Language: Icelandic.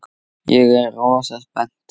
Ég er rosa spennt.